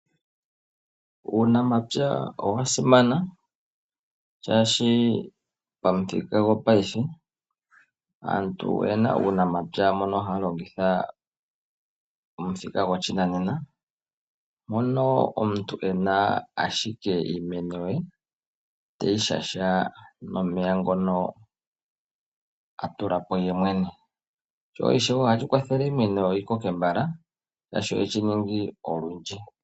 Uunamapya owa simana shashi pamuthika gopaife aantu oyena uunamapya mono haya longitha omuthika gwoshinanena. Mono omuntu ena ashike iimeno teyi shasha nomeya ngono atula po yemwene. Sho ishewe ohashi kwathele iimeno yi koke mbala shashi ohe shi ningi olundji.